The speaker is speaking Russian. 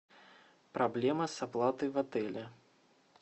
проблема с оплатой в отеле